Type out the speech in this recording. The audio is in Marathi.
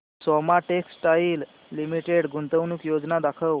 सोमा टेक्सटाइल लिमिटेड गुंतवणूक योजना दाखव